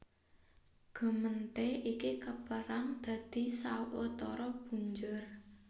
Gemeente iki kapérang dadi sawetara punjer